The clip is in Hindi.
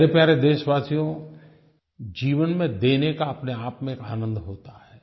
मेरे प्यारे देशवासियो जीवन में देने का अपनेआप में एक आनंद होता है